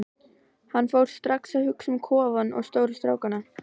Hann fór strax að hugsa um kofann og stóru strákana.